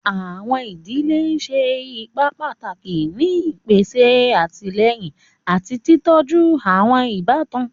Àwọn idile ṣe ipa pataki ni ipese atilẹyin ati titọju àwọn ibatan.